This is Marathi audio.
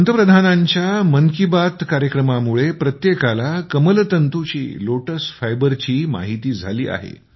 पंतप्रधानांच्या मन की बात कार्यक्रमापासून प्रत्येकाला कमलतंतूची लोटस फायबर माहिती झाली आहे